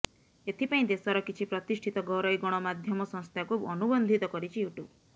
ଏଥିପାଇଁ ଦେଶର କିଛି ପ୍ରତିଷ୍ଠିତ ଘରୋଇ ଗଣମାଧ୍ୟମ ସଂସ୍ଥାଙ୍କୁ ଅନୁବନ୍ଧିତ କରିଛି ୟୁ ଟ୍ୟୁବ